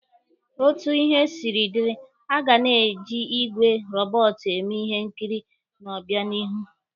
Otu ihe siri dịrị, aga na-eji igwe robọọtụ eme ihe nkiri n'obịanihu.